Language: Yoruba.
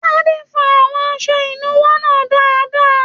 Tade fọ àwọn aṣọ ìnúwọ́ náà dáadáa.